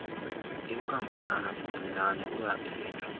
inkampanana encinane uyathinjwa